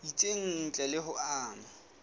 itseng ntle le ho ama